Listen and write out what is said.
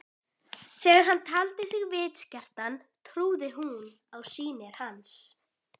Þegar hann taldi sig vitskertan trúði hún á sýnir hans.